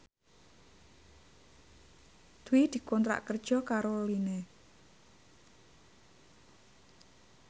Dwi dikontrak kerja karo Line